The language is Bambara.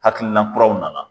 Hakilina kuraw nana